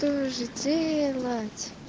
делать